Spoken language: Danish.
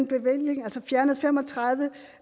bevillingen altså fjernede fem og tredive